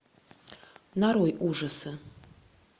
нарой ужасы